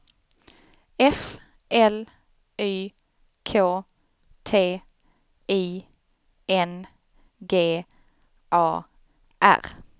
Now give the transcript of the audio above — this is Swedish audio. F L Y K T I N G A R